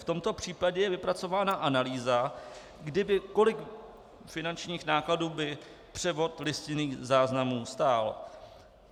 V tomto případě je vypracována analýza, kolik finančních nákladů by převod listinných záznamů stál.